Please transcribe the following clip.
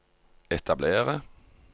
etablere